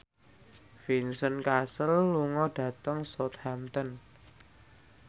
Vincent Cassel lunga dhateng Southampton